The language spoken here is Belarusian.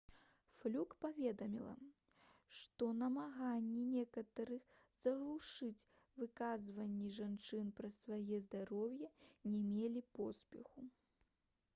флюк паведаміла што намаганні некаторых заглушыць выказванні жанчын пра свае здароўе не мелі поспеху